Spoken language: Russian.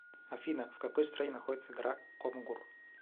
афина в какой стране находится гора конгур